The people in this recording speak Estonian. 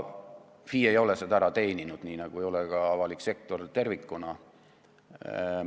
FI ei ole seda ära teeninud, nii nagu ei ole ka avalik sektor tervikuna.